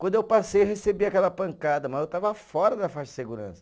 Quando eu passei, eu recebi aquela pancada, mas eu estava fora da faixa de segurança.